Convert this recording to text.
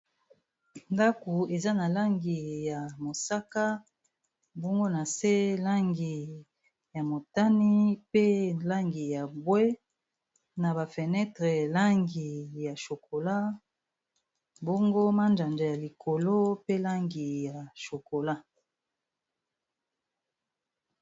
Ndako eza na langi ya mosaka mbongona se langi ya motani, pe langi ya bwe na bafenetre langi ya chokola, bongo manjanja ya likolo pe langi ya chokola.